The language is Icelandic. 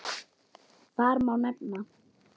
Þar má nefna